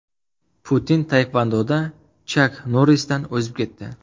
Putin taekvondoda Chak Norrisdan o‘zib ketdi.